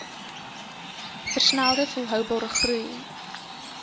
versnelde volhoubare groei